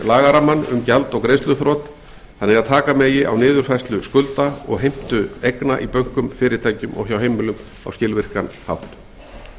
lagarammann um gjald og greiðsluþrot þannig að taka megi á niðurfærslu skulda og heimtu eigna í bönkum fyrirtækjum og hjá heimilum á skilvirkan hátt